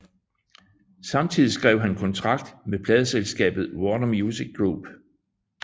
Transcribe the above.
Samtidig skrev han kontrakt med pladeselskabet Warner Music Group